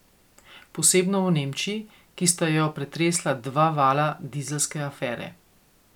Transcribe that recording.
Posebno v Nemčiji, ki sta jo pretresla dva vala dizelske afere.